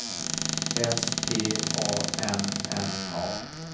S T A N N A